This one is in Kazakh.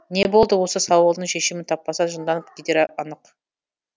не болды осы сауалдың шешімін таппаса жынданып кетері анық